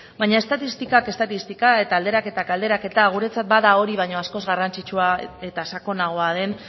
baina estatistikak estatistika eta alderaketak alderaketa guretzat bada hori baino askoz garrantzitsua eta sakonagoa den